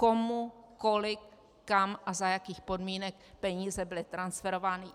Komu, kolik, kam a za jakých podmínek peníze byly transferovány.